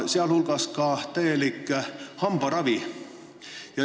Neil on ka täielik hambaravi.